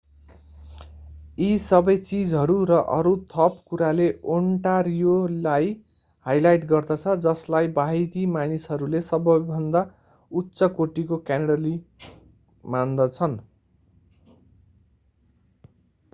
यी सबै चीजहरू र अरू थप कुराले ओन्टारियोलाई हाइलाइट गर्दछ जसलाई बाहिरी मानिसहरूले सबैभन्दा उच्च कोटीको क्यानाडियाली मान्दछन्